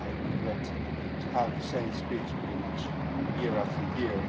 I regret to have to give the same speech pretty much year after year.